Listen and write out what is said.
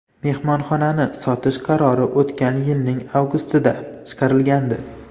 Mehmonxonani sotish qarori o‘tgan yilning avgustida chiqarilgandi.